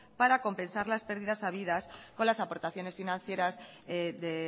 para compensar las pérdidas habidas con las aportaciones financieras de